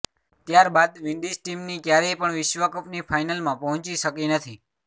ત્યાર બાદ વિન્ડીઝ ટીમની ક્યારેય પણ વિશ્વકપની ફાઇનલમાં પહોંચી શકી નથી